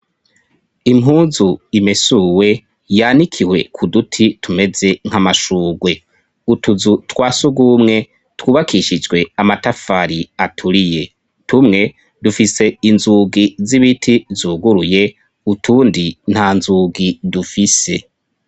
Impuzu imesuwe yanikiwe ku duti tumeze nk'amashurwe utuzu twa si ugumwe twubakishijwe amatafari aturiye tumwe dufise inzugi z'ibiti zuguruye utundi nta nzugi dufise.